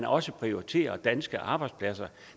også prioritere danske arbejdspladser